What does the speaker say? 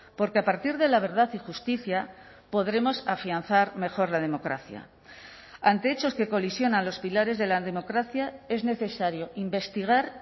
porque a partir de la verdad y justicia podremos afianzar mejor la democracia ante hechos que colisionan los pilares de la democracia es necesario investigar